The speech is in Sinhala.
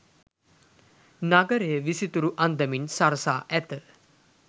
නගරය විසිතුරු අන්දමින් සරසා ඇත.